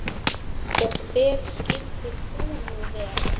Og hver skyldir þú nú vera?